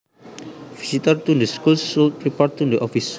Visitors to the school should report to the office